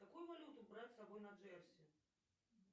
какую валюту брать с собой на джерси